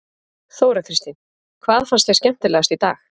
Þóra Kristín: Hvað fannst þér skemmtilegast í dag?